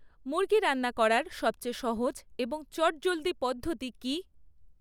মুরগি রান্না করার সবচেয়ে সহজ এবং চটজলদি পদ্ধতি কী?